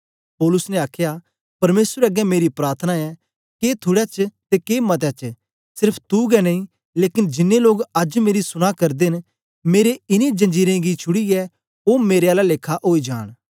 पौलुस ने आखया परमेसर अगें मेरी प्रार्थान ऐ के थुड़े च ते के मते च सेर्फ तू गै नेई लेकन जिन्नें लोग अज्ज मेरी सुना करदे न मेरे इनें जंजीरें गी छुड़ीयै ओ मेरे आला लेखा ओई जांन